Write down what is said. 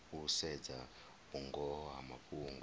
u sedza vhungoho ha mafhungo